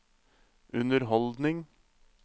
underholdning